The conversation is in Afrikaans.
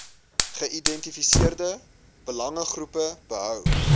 geïdentifiseerde belangegroepe behou